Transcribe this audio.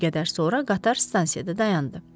Bir qədər sonra qatar stansiyada dayandı.